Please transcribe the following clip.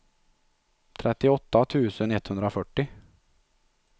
trettioåtta tusen etthundrafyrtio